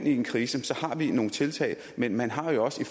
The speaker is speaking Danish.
en krise har vi nogle tiltag men man har jo også i